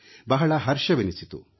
ಬಹಳ ಹರ್ಷವೆನಿಸಿತು